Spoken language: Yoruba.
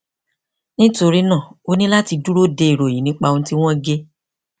nítorí náà o ní láti dúró de ìròyìn nípa ohun tí wọn gé